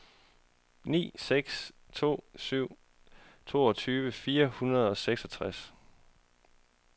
ni seks to syv toogtyve fire hundrede og seksogtres